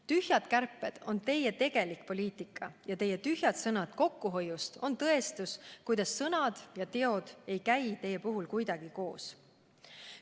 Tühjad kärped on teie tegelik poliitika ja teie tühjad sõnad kokkuhoiust on tõestus, kuidas sõnad ja teod ei käi teie puhul kuidagi koos.